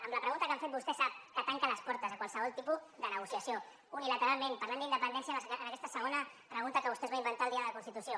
amb la pregunta que han fet vostè sap que tanca les portes a qualsevol tipus de negociació unilateralment parlant d’independència en aquesta segona pregunta que vostè es va inventar el dia de la constitució